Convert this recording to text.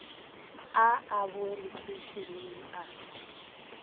a a boe lekheišeneng a